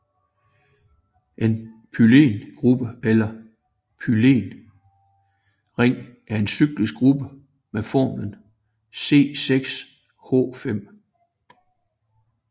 En phenylgruppe eller phenylring er en cyklisk gruppe med formlen C6H5